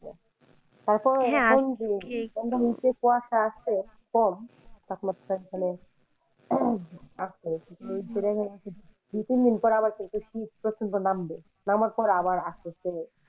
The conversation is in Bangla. তারপর নিচে কুয়াশা আছে কম তাপমাত্রা মানে আছে দু, তিন দিন পর কিন্তু শীত প্রচন্ড নামবে, নামার পর আবার আস্তে আস্তে